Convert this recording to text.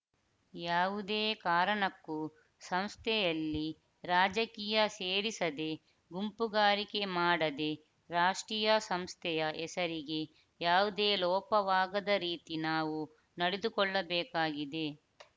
ಯಾವುದೇ ಕಾರಣಕ್ಕೂ ಸಂಸ್ಥೆಯಲ್ಲಿ ರಾಜಕೀಯ ಸೇರಿಸದೆ ಗುಂಪುಗಾರಿಕೆ ಮಾಡದೇ ರಾಷ್ಟೀಯ ಸಂಸ್ಥೆಯ ಹೆಸರಿಗೆ ಯಾವುದೇ ಲೋಪವಾಗದ ರೀತಿ ನಾವು ನಡೆದುಕೊಳ್ಳಬೇಕಾಗಿದೆ